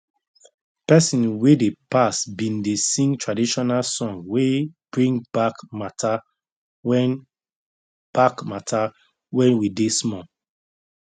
pesin wey dey pass bin dey sing traditional song wey bring back matter when back matter when we dey small